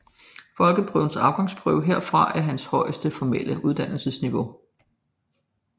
Folkeskolens afgangsprøve herfra er hans højeste formelle uddannelsesniveau